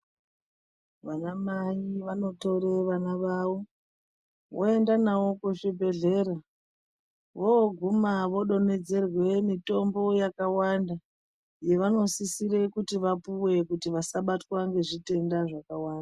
Vanamai vanotore vana vavo voende navo kuzvibhedhleya voguma vodonhedzerwe mitombo yakawanda yevanisisire kuti vapuwe kuti vasabatwe ngezvitenda zvakawanda.